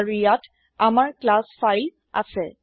আৰু ইয়াত আমাৰ ক্লাছ ফাইল আছে